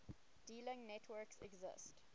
dealing networks exist